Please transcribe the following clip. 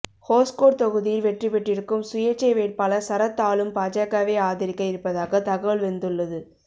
ஹோஸ்கோட் தொகுதியில் வெற்றிபெற்றிருக்கும் சுயேட்சை வேட்பாளர் சரத் ஆளும் பாஜகவை ஆதரிக்க இருப்பதாக தகவல் வந்துள்ளது